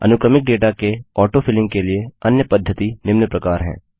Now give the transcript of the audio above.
अनुक्रमिक डेटा के auto filling के लिए अन्य पद्धति निम्न प्रकार है